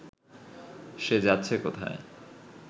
সে যাচ্ছে কোথায়